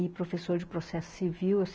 E professor de processo civil.